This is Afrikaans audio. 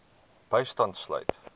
bystand sluit